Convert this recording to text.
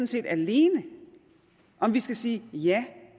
set alene om vi skal sige ja